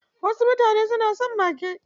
Wasu mutane suna son mage.